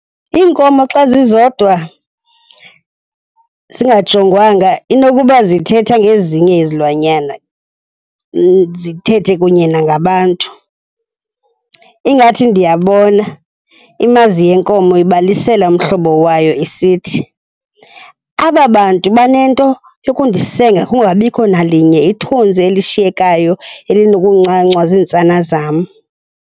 Iinkomo xa zizodwa zingajongwanga inokuba zithetha ngezinye izilwanyana, zithethe kunye nangabantu. Ingathi ndiyabona imazi yenkomo ibalisela umhlobo wayo isithi, aba bantu banento yokundisenga kungabikho nalinye ithontsi elishiyekayo elinokuncancwa ziintsana zam.